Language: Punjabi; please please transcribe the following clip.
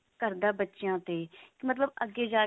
ਕਰਦਾ ਬੱਚਿਆਂ ਤੇ ਕਿ ਮਤਲਬ ਅੱਗੇ ਜਾ ਕੀ